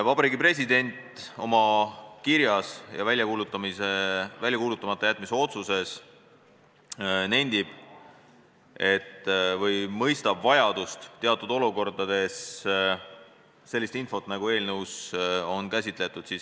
Vabariigi President nendib oma kirjas ja välja kuulutamata jätmise otsuses, et mõistab vajadust teatud olukordades töödelda ja ka väljastada sellist infot, nagu eelnõus on käsitletud.